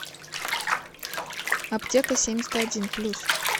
аптекасемьдесятодин плюс